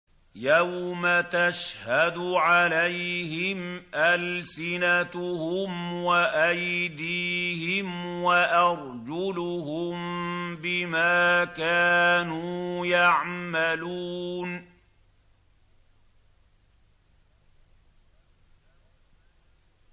يَوْمَ تَشْهَدُ عَلَيْهِمْ أَلْسِنَتُهُمْ وَأَيْدِيهِمْ وَأَرْجُلُهُم بِمَا كَانُوا يَعْمَلُونَ